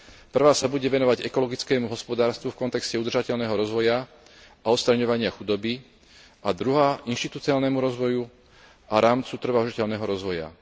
Prvá sa bude venovať ekologickému hospodárstvu v kontexte udržateľného rozvoja a odstraňovania chudoby a druhá inštitucionálnemu rozvoju a rámcu trvalo udržateľného rozvoja.